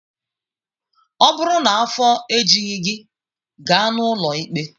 Ọ bụrụ na afọ ejughị gị, gaa n'ụlọ ikpe!